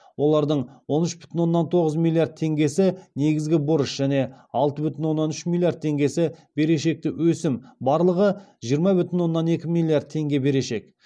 олардың он үш бүтін оннан тоғыз миллиард теңгесі негізгі борыш және алты бүтін оннан үш миллиард теңгесі берешекті өсімі барлығы жиырма бүтін оннан екі миллиард теңге берешек